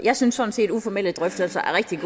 jeg synes sådan set at uformelle drøftelser er rigtig